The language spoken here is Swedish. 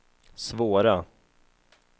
svåra